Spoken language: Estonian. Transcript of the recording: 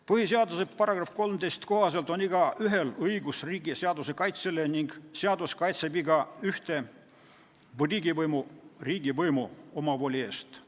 Põhiseaduse § 13 kohaselt on igaühel õigus riigi ja seaduse kaitsele ning seadus kaitseb igaühte riigivõimu omavoli eest.